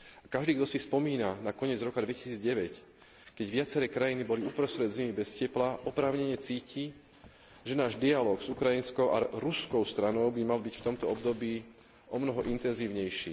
Každý, kto si spomína na koniec roka 2009, keď viaceré krajiny boli uprostred zimy bez tepla, oprávnene cíti, že náš dialóg s ukrajinskou a ruskou stranou by mal byť v tomto období omnoho intenzívnejší.